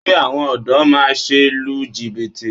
Kí àwọn ọ̀dọ́ má se lu jìbìtì